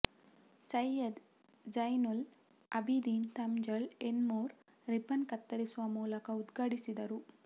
Syed Zainul Abideen Thangal Enmur ribbon ಕತ್ತರಿಸುವ ಮೂಲಕ ಉದ್ಘಾಟಿಸಿದರು